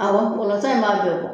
Awɔ in b'a bɛɛ bɔ